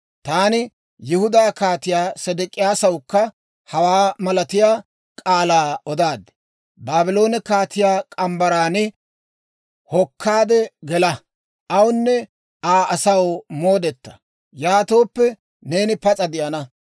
Taani Yihudaa Kaatiyaa Sedek'iyaasawukka hawaa malatiyaa k'aalaa odaad; «Baabloone kaatiyaa morgge mitsaan hokkaade gela. Awunne Aa asaw moodeta. Yaatooppe, neeni pas'a de'ana.